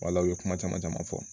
Wala u ye kuma caman caman fɔ